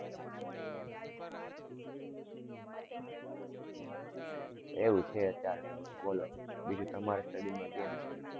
એવું છે અત્યારે તો બોલો બીજું તમારે study માં કેમ છે?